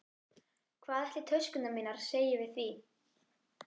Hvað ætli töskurnar mínar segi við því?